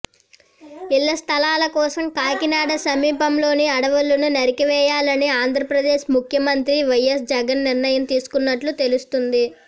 ఇళ్ల స్థలాల కోసం కాకినాడ సమీపంలోని అడవులను నరికివేయాలని ఆంధ్రప్రదేశ్ ముఖ్యమంత్రి వైఎస్ జగన్ నిర్ణయం తీసుకున్నట్లు తెలుస్తోంది